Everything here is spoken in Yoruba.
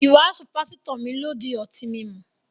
Ìwàásù pásítò mi lọ dí ọ̀tí mímú